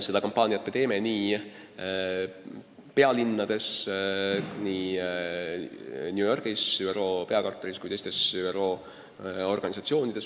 Seda kampaaniat me teeme nii pealinnades, nii New Yorgis ÜRO peakorteris kui teistes ÜRO organisatsioonides.